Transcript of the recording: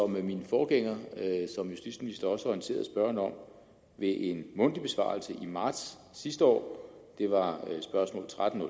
min forgænger som justitsminister også har orienteret spørgerne om ved en mundtlig besvarelse i marts sidste år det var spørgsmål tretten